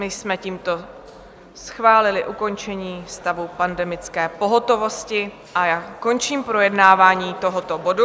My jsme tímto schválili ukončení stavu pandemické pohotovosti a já končím projednávání tohoto bodu.